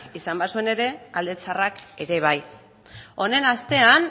izan bazituen ere alde txarrak ere bai honen